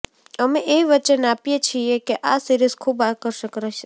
અમે એ વચન આપીએ છીએ કે આ સીરીઝ ખૂબ આકર્ષક રહશે